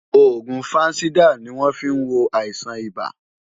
Òògùn Fansidar ni wọ́n fí ń wo àìsàn ibà.